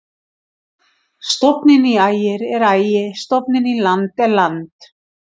Stofninn í Ægir er Ægi-, stofninn í land er land.